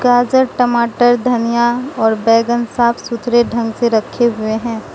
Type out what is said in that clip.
गाजर टमाटर धनिया और बैगन साफ सुथरे ढंग से रखे हुए हैं।